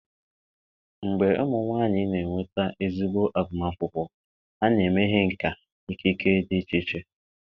mgbe ụmụ nwanyị na-enweta ezigbo agụmakwụkwọ, ha na-emeghe nkà na ikike dị iche iche.